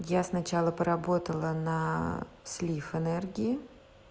я сначала поработала на слив энергии